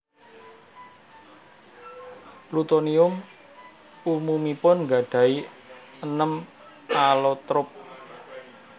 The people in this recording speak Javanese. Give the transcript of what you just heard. Plutonium umumipun nggadahi enem alotrop